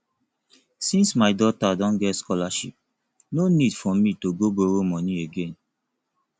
since my daughter don get scholarship no need for me to go borrow money again